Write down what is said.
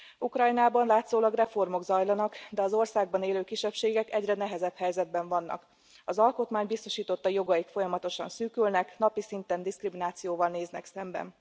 Ukrajnában látszólag reformok zajlanak, de az országban élő kisebbségek egyre nehezebb helyzetben vannak. Az alkotmány biztosította jogaik folyamatosan szűkülnek, napi szinten diszkriminációval néznek szembe.